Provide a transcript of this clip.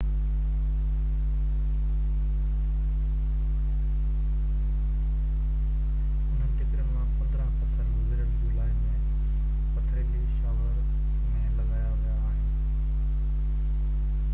انهن ٽڪرين مان 15 پٿر گذريل جولاءِ ۾ پٿريلي شاور ۾ لڳايا ويا آهن